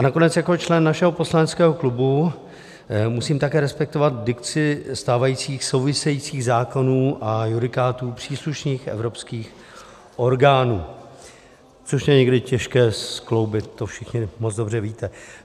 A nakonec jako člen našeho poslaneckého klubu musím také respektovat dikci stávajících souvisejících zákonů a judikátů příslušných evropských orgánů, což je někdy těžké skloubit, to všichni moc dobře víte.